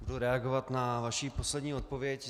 Budu reagovat na vaši poslední odpověď.